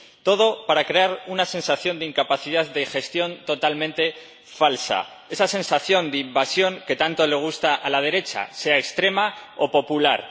todo para crear una sensación de incapacidad de gestión totalmente falsa, esa sensación de invasión que tanto gusta a la derecha, sea extrema o popular.